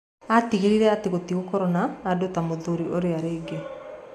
Atigĩrĩre atĩ gũtigũkorwo na andũ ta mũthuri ũrĩa rĩngĩ.